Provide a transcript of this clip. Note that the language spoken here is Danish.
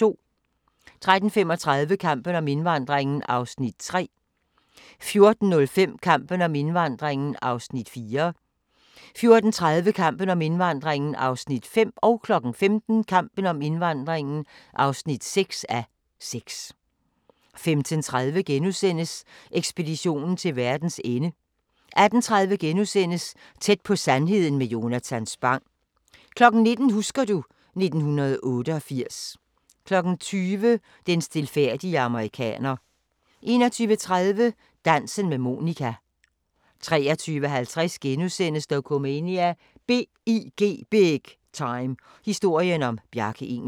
13:35: Kampen om indvandringen (3:6) 14:05: Kampen om indvandringen (4:6) 14:30: Kampen om indvandringen (5:6) 15:00: Kampen om indvandringen (6:6) 15:30: Ekspeditionen til verdens ende * 18:30: Tæt på sandheden med Jonatan Spang * 19:00: Husker du ... 1988 20:00: Den stilfærdige amerikaner 21:30: Dansen med Monica 23:50: Dokumania: BIG Time – historien om Bjarke Ingels *